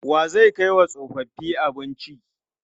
Wa zai kai wa tsofaffi abinci?